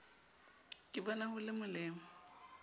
ke bona ho le molemo